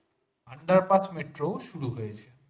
under পাঁচ metro শুরু হয়েছে